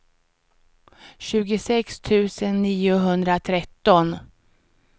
tjugosex tusen niohundratretton